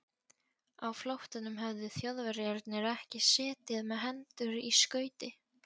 Á flóttanum höfðu Þjóðverjarnir ekki setið með hendur í skauti.